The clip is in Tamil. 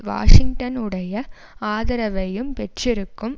வாஷிங்டனுடைய ஆதரவையும் பெற்றிருக்கும்